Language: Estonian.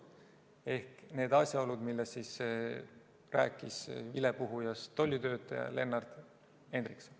Need olid asjaolud, millest rääkis vilepuhujast tollitöötaja Lennart Henriksson.